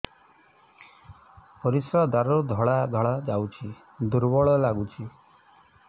ପରିଶ୍ରା ଦ୍ୱାର ରୁ ଧଳା ଧଳା ଯାଉଚି ଦୁର୍ବଳ ଲାଗୁଚି